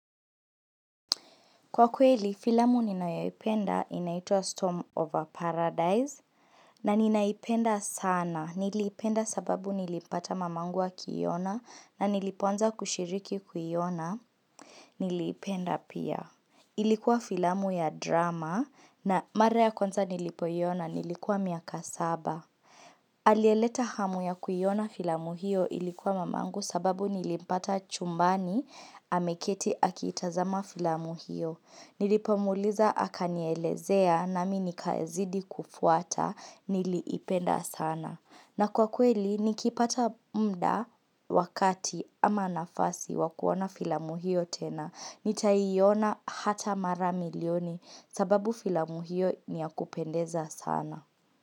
Kwa kweli, filamu ninayoipenda inaitwa Storm of Paradise na ninaipenda sana nilipenda sababu nilipata mamangu akiona na nilipoanza kushiriki kuiona nilipenda pia. Ilikuwa filamu ya drama na mara ya kwanza nilipoiona nilikuwa miaka saba. Aliyeleta hamu ya kuiona filamu hiyo ilikuwa mamangu sababu nilipata chumbani ameketi akiitazama filamu hiyo. Nilipomwuliza akanielezea na mi nikazidi kufuata niliipenda sana. Na kwa kweli nikipata mda wakati ama nafasi wa kuona filamu hiyo tena. Nitaiona hata mara milioni sababu filamu hiyo ni ya kupendeza sana.